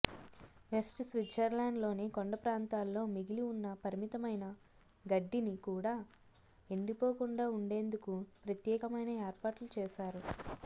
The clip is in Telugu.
వెస్ట్ స్విట్జర్లాండ్ లోని కొండప్రాంతాల్లో మిగిలి ఉన్న పరిమితమైన గడ్డిని కూడా ఎండిపోకుండా ఉండేందుకు ప్రత్యేకమైన ఏర్పాట్లు చేశారు